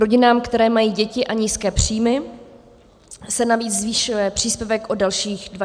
Rodinám, které mají děti a nízké příjmy, se navíc zvyšuje příspěvek o dalších 2 000 korun.